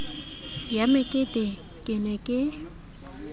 ya mekete ke ne ke